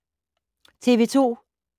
TV 2